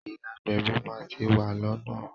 Ìyá agbẹ̀bí máa ti wà lọ́nà.